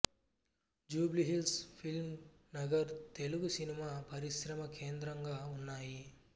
Jubilee Hills Film Nagar Telugu cinema పరిశ్రమ కేంద్రంగా ఉన్నాయి